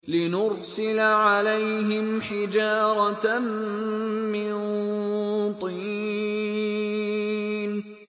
لِنُرْسِلَ عَلَيْهِمْ حِجَارَةً مِّن طِينٍ